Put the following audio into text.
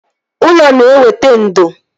Ụlọ na-eweta ndo